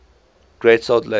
great salt lake